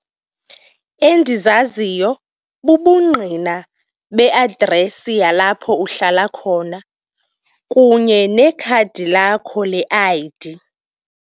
Endizaziyo bubungqina beadresi yalapho uhlala khona kunye nekhadi lakho le-I_D.